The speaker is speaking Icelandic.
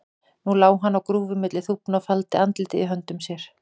Nú lá hann á grúfu milli þúfna og faldi andlitið í höndum sér.